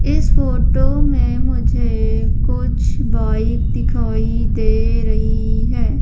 इस फोटो में मुझे कुछ बाइक दिखाई दे रही हैं।